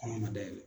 Kɔnɔna dayɛlɛ